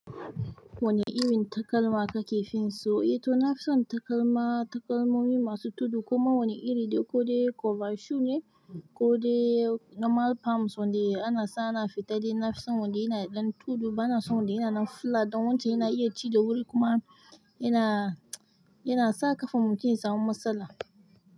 Wane irin takalma kake fin so? Eh to nafison takalma, takalmomai masu tudu kuma wani iri ko dai cover shoe ne ko dai normal palms wanda ana sa ana fita dai nafison wanda yana da ɗan tudu. Bana san wanda ya nan flat dan wancen yana iya ci da wuri kuma yana sa ƙafar mutum ya samu matsala.